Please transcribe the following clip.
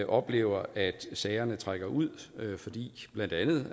oplever at sagerne trækker ud blandt andet